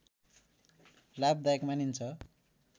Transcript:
लाभदायक मानिन्छ